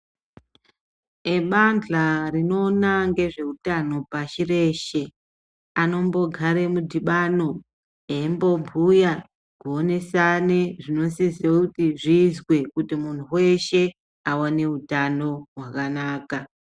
Ebandhka rinoona neveutano pashi reshe, anombogare midhibano ,eimbobhuya, kuonesane zvinosise kuti zviizwe ,kuti muntu weshe aone utano hwakanaka.